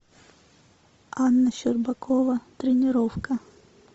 анна щербакова тренировка